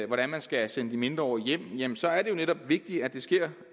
hvordan man skal sende de mindreårige hjem hjem så er det jo netop vigtigt at det sker